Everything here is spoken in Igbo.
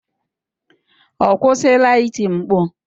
Ọ kwụsịla iti mkpu?